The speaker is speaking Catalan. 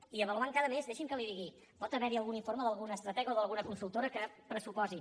i avaluant cada mes deixi’m que li ho digui pot haverhi algun informe d’algun estratega o d’alguna consultora que pressuposi